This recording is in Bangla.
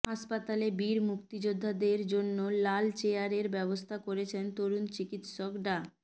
হাসপাতালে বীর মুক্তিযোদ্ধাদের জন্য লাল চেয়ারের ব্যবস্থা করেছেন তরুণ চিকিৎসক ডা